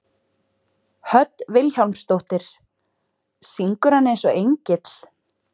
Hödd Vilhjálmsdóttir: Syngur hann eins og engill?